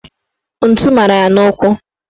Ntu mara ya n'ụkwụ